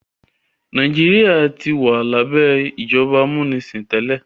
Nàìjíríà tí wà labẹ ìjọba amunisin tẹlẹ.